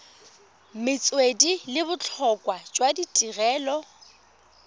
metswedi le botlhokwa jwa tirelo